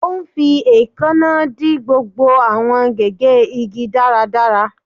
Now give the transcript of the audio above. Ó ń fi èékánná dì gbogbo àwọn gégé igi dáradára